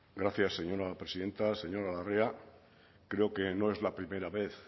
gracias señora presidenta señora larrea creo que no es la primera vez